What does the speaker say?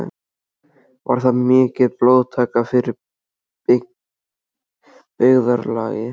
Var það mikil blóðtaka fyrir byggðarlagið.